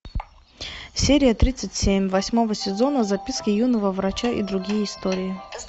серия тридцать семь восьмого сезона записки юного врача и другие истории